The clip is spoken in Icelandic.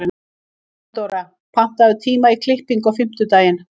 Theodóra, pantaðu tíma í klippingu á fimmtudaginn.